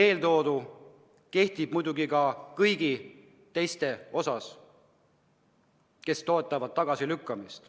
Eeltoodu kehtib muidugi ka kõigi teiste kohta, kes pooldavad tagasilükkamist.